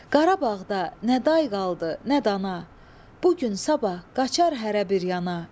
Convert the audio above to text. Qarabağda nə day qaldı, nə dana, bu gün sabah qaçar hərə bir yana.